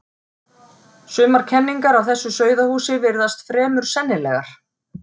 Sumar kenningar af þessu sauðahúsi virðast fremur sennilegar.